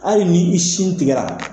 Hali ni i sin tigɛra